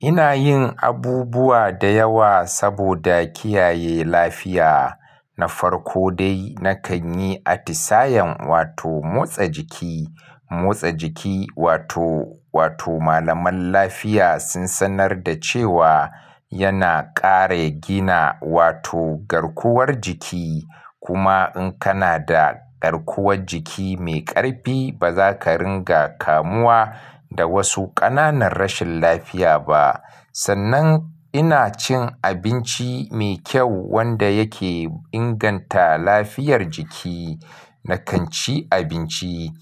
Ina yin abubuwa da yawa saboda kiyaye lafiya. Na farko dai, na kan yi atisayen wato motsa jiki. Motsa jiki wato, wato malaman lafiya sun sanar da cewa yana kare gina wato garkuwar jiki. Kuma in kana da garkuwar jiki mai ƙarfi, ba za ka ringa kamuwa da wasu ƙananan rashin lafiya ba. Sannan ina cin abinci mai kyau wanda yake inganta lafiyar jiki. Na kan ci abinci.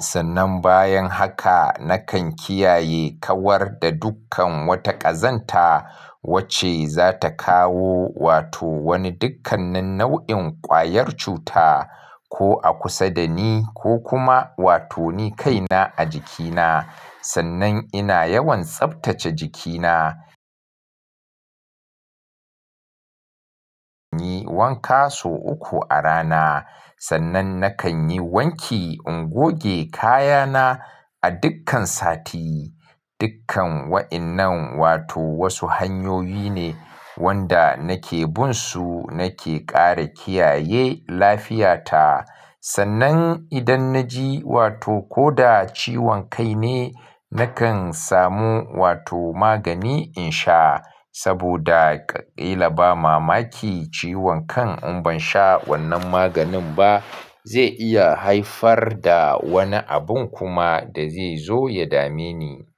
Sannan bayan haka na kan kiyaye kawar da dukkan wata ƙazanta wacce za ta kawo wato wani dukkanin nau'in ƙwayar cuta ko a kusa da ni ko kuma wato ni kaina a jikina. Sannan ina yawan tsaftace jikina. Wanka sau uku a rana. Sannan na kan yi wanki in goge kayana a dukkan sati. Dukkan wa'innan wato wasu hanyoyi ne wanda nake binsu nake kare kiyaye lafiyata. Sannan idan na ji wato ko da ciwon kai ne, na kan samu wato magani in sha. Saboda ƙa kila ba mamaki ciwon kan in ban sha wannan maganin ba zai iya haifar da wani abun kuma da zai zo ya dame ni.